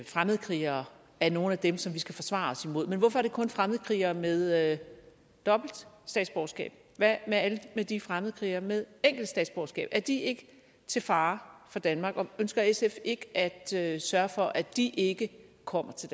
fremmedkrigere er nogle af dem som vi skal forsvare os imod men hvorfor er det kun fremmedkrigere med dobbelt statsborgerskab hvad med alle de fremmedkrigere med enkelt statsborgerskab er de ikke til fare for danmark og ønsker sf ikke at at sørge for at de ikke kommer til